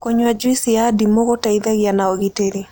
Kũnyua jũĩsĩ ya ndĩmũ gũteĩthagĩa na ũgĩtĩrĩ